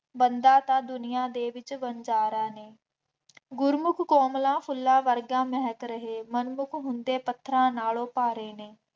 ਬੰਦਾ ਤਾਂ ਦੁਨੀਆਂ ਦੇ ਵਿੱਚ ਵਣਜ਼ਾਰਾ ਹੈ, ਗੁਰਮੁੱਖ ਕੋਮਲਾ ਫੁੱਲਾਂ ਵਰਗਾ ਮਹਿਕ ਰਹੇ ਮਨਮੁੱਖ ਹੁੰਦੇ ਪੱਥਰਾਂ ਨਾਲੋਂ ਭਾਰੇ ਨੇ,